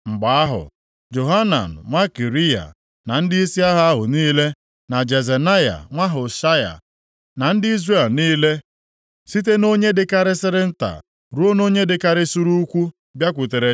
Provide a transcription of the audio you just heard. Mgbe ahụ, Johanan nwa Kariya, na ndịisi agha ahụ niile, na Jezenaya nwa Hoshaya, na ndị Izrel niile, site nʼonye dịkarịsịrị nta ruo nʼonye dịkarịsịrị ukwuu, bịakwutere